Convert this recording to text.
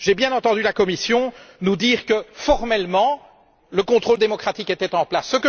J'ai bien entendu la Commission nous dire que, formellement, le contrôle démocratique était en place.